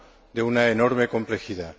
de una enorme complejidad.